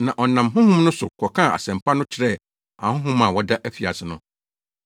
na ɔnam honhom no so kɔkaa Asɛmpa no kyerɛɛ ahonhom a wɔda afiase no.